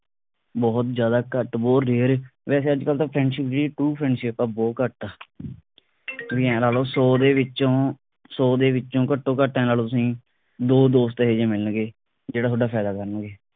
ਬਹੁਤ ਜਿਆਦਾ ਘੱਟ ਬਹੁਤ rare ਵੈਸੇ ਅੱਜਕਲ ਤਾਂ friendship ਕਿ true friendship ਆ ਬਹੁਤ ਘੱਟ ਆ ਤੁਹੀ ਐ ਲਾ ਲੋ ਸੌਂ ਦੇ ਵਿਚੋਂ ਸੌ ਦੇ ਵਿਚੋਂ ਘੱਟੋ ਘੱਟ ਐ ਲਾ ਲੋ ਤੁਸੀ ਦੋ ਦੋਸਤ ਇਹੋ ਜੇ ਮਿਲਣਗੇ ਜਿਹੜਾ ਤੁਹਾਡਾ ਫਾਇਦਾ ਕਰਨਗੇ